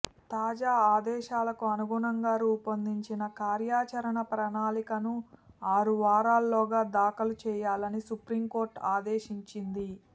తాజా ఆదేశాలకు అనుగుణంగా రూపొందించిన కార్యాచరణ ప్రణాళికను ఆరు వారాల్లోగా దాఖలు చేయాలని సుప్రీంకోర్టు ఆదేశించింది